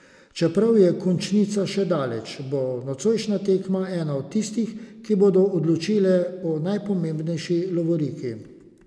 Čeprav je končnica še daleč, bo nocojšnja tekma ena od tistih, ki bodo odločile o najpomembnejši lovoriki.